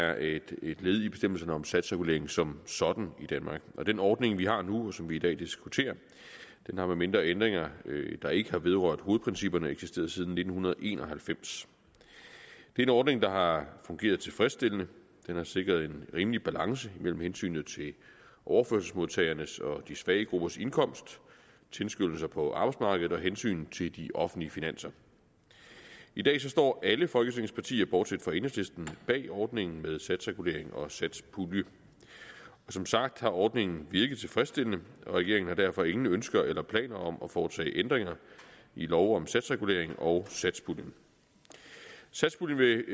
er et led i bestemmelsen om satsreguleringen som sådan i danmark og den ordning vi har nu og som vi i dag diskuterer har med mindre ændringer der ikke har vedrørt hovedprincipperne eksisteret siden nitten en og halvfems det er en ordning der har fungeret tilfredsstillende den har sikret en rimelig balance mellem hensynet til overførselsmodtagernes og de svage gruppers indkomst tilskyndelser på arbejdsmarkedet og hensynet til de offentlige finanser i dag står alle folketingets partier bortset fra enhedslisten bag ordningen med satsreguleringen og satspuljen som sagt har ordningen virket tilfredsstillende og regeringen har derfor ingen ønsker eller planer om at foretage ændringer i loven om satsreguleringen og satspuljen satspuljen vil